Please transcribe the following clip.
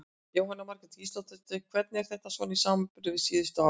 Jóhanna Margrét Gísladóttir: Hvernig er þetta svona í samanburði við síðustu ár?